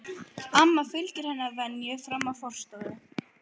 Amma fylgir henni að venju fram í forstofu.